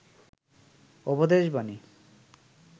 উপদেশ বানী